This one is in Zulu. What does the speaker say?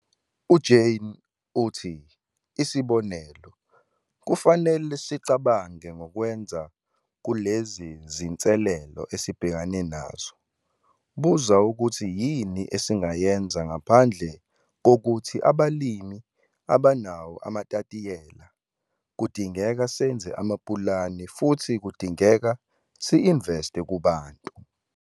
UJane uthi- 'isibonelo, kufanele sicabange ngokwenza kulezi zinselelo esibhekene nazo- Buza ukuthi yini esingayenza, ngaphandle kokuthi abalimi abanawo amatayitela - kudingeka senze amapulane futhi kudingeka si-investe kuBANTU'.